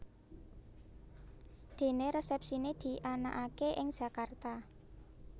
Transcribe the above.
Dené resepsiné dianakaké ing Jakarta